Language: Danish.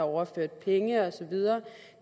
overført penge og så videre